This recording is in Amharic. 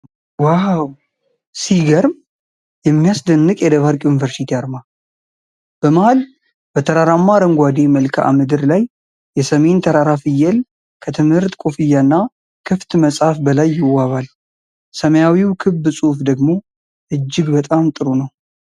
ዋው! ሲገርም! የሚያስደንቅ የደባርቅ ዩኒቨርሲቲ አርማ! በመሀል፣ በተራራማ አረንጓዴ መልክዓ ምድር ላይ የሰሜን ተራራ ፍየል ከትምህርት ኮፍያና ክፍት መጽሐፍ በላይ ይዋባል። ሰማያዊው ክብ ጽሑፍ ደግሞ እጅግ በጣም ጥሩ ነው።